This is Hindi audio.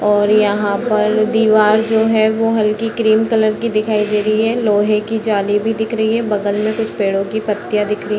और यहाँ पर दिवार जो है वो हल्की क्रीम कलर की दिखाई दे रही है | लोहे की जाली भी दिख रही है | बगल में कुछ पेड़ों की पत्तियां दिख रही है।